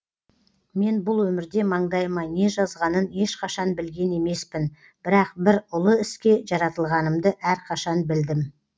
мен бұл өмірде маңдайыма не жазғанын ешқашан білген емеспін бірақ бір ұлы іске жаратылғанымды әрқашан білдім